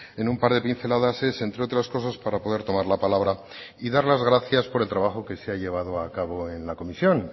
en un par de pinceladas es entre otras cosas para poder tomar la palabra y dar las gracias por el trabajo que se ha llevado a cabo en la comisión